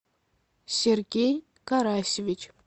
сергей карасевич